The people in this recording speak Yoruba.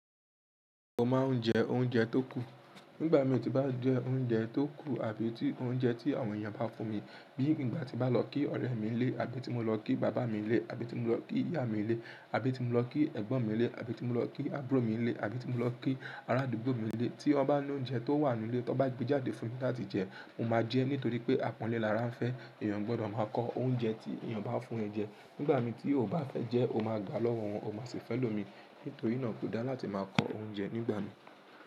Mo máa ń jẹ oúnjẹ tó kù. Nígbà mi tí bàí jẹ oúnjẹ tó kù àbí tí oúnjẹ tí àwọn èèyàn bá fún mi bíi nígbà tí mo bá lọ kí ọ̀rẹ́ mi lè àbí tí mo lọ kí bàbá mi lè àbí tí mo lọ kí ìyá mi lè àbí tí mo lọ kí ẹ̀gbọ́n mi lè àbí tí mo lọ kí àbúrò mi lè àbí tí mo lọ kí arádùgbò mi lè tí wọ́n bá ní oúnjẹ tó wà nínú ilé tí wọ́n bá gbé jáde fún mi láti jẹ, mo máa jẹ nítorí pé apànle lára ń fẹ́ èèyàn gbọ́dọ̀ máa kọ oúnjẹ tí èèyàn bá fún ẹ jẹ. Nígbà mi tí o ò bá fẹ́ jẹ, o máa ga lọ́wọ́ wọn, o máa sì fẹ́ lòmi nítorí iná tó dá láti máa kọ oúnjẹ nígbà mi.